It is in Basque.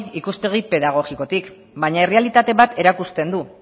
ikuspegi pedagogikotik baina errealitate bat erakusten du